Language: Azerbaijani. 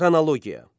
Xronologiya.